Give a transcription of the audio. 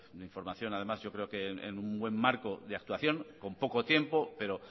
de información además yo creo que en un buen marco de actuación con poco tiempo pero